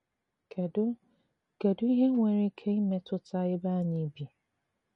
Kèdù Kèdù ìhé nwere ìkè ìmétùtà èbé ànyị̀ bì?